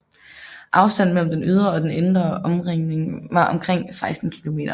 Afstanden mellem den ydre og den indre omringning var omkring 16 km